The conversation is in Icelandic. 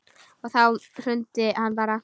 Og þá hrundi hann bara.